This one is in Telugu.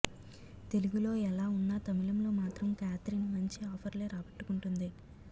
తెలుగులో ఎలా ఉన్నా తమిళంలో మాత్రం కేథరిన్ మంచి ఆఫర్లే రాబట్టుకుంటుంది